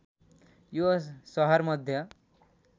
यो सहर मध्य